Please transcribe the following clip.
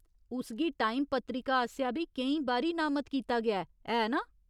उस गी टाइम पत्रिका आसेआ बी केईं बारी नामत कीता गेआ ऐ, ऐ नां ?